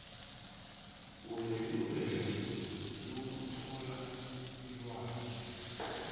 unelungelo lokuthola ilwazi